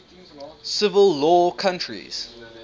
civil law countries